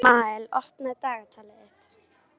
Ísmael, opnaðu dagatalið mitt.